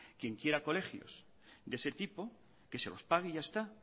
quien quiera colegios de ese tipo que se lo pague y ya está